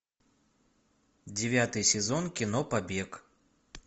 девятый сезон кино побег